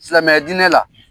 Silamɛya diinɛ la.